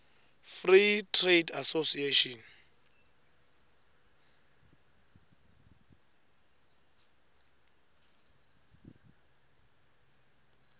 free trade association